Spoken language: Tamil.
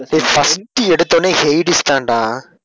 டேய் first எடுத்தவுடனே ஹேடிஸ் தான்டா